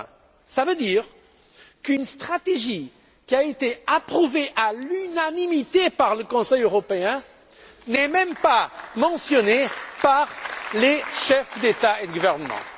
2020. Cela veut dire qu'une stratégie qui a été approuvée à l'unanimité par le Conseil européen n'est même pas mentionnée par les chefs d'État et de gouvernement.